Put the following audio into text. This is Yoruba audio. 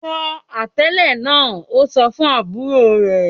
"Fọ atalẹ̀ náà!" Ó sọ fún àbúrò rẹ̀